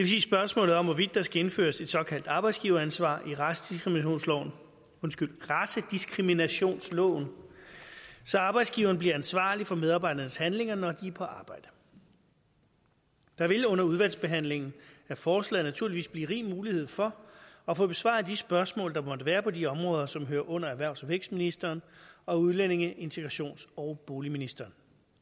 sige spørgsmålet om hvorvidt der skal indføres et såkaldt arbejdsgiveransvar i racediskriminationsloven racediskriminationsloven så arbejdsgiveren bliver ansvarlig for medarbejdernes handlinger når de er på arbejde der vil under udvalgsbehandlingen af forslaget naturligvis blive rig mulighed for at få besvaret de spørgsmål der måtte være på de områder som hører under erhvervs og vækstministeren og udlændinge integrations og boligministeren